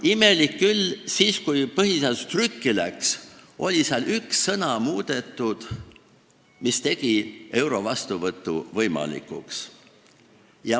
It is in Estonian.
Imelik küll, siis, kui põhiseadus trükki läks, oli seal üks sõna muudetud, mis tegi euro kasutuselevõtu võimalikuks.